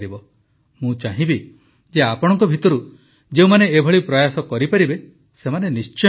ମୁଁ ଚାହିଁବି ଯେ ଆପଣଙ୍କ ଭିତରୁ ଯେଉଁମାନେ ଏପରି ପ୍ରୟାସ କରିପାରିବେ ସେମାନେ ନିଶ୍ଚୟ କରନ୍ତୁ